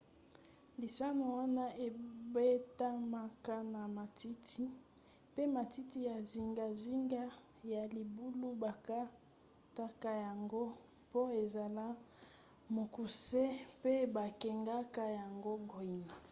lisano wana ebetamaka na matiti pe matiti ya zingazinga ya libulu bakataka yango mpo ezala mokuse pe babengaka yango green